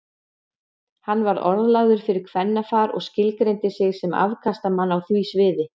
Hann var orðlagður fyrir kvennafar og skilgreindi sig sem afkastamann á því sviði.